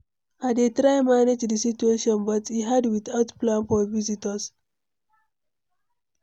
I dey try manage the situation, but e hard without plan for visitors.